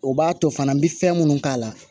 O b'a to fana n bɛ fɛn minnu k'a la